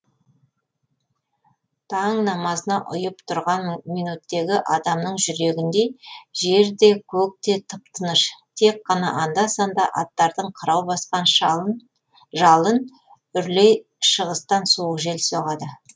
таң намазына ұйып тұрған минуттегі адамның жүрегіндей жер де көк те тып тыныш тек қана анда санда аттардың қырау басқан жалын үрлей шығыстан суық жел соғады